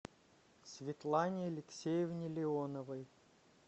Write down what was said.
светлане алексеевне леоновой